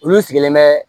Olu sigilen bɛ